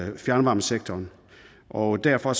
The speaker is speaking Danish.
i fjernvarmesektoren og derfor